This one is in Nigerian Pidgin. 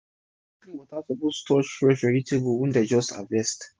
na only clean water suppose touch fresh vegetable wey den just harvest